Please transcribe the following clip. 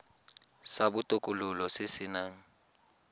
sa botokololo se se nang